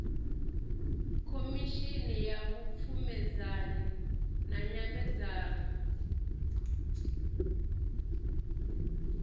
khomishini ya vhupfumedzanyi na nyambedzano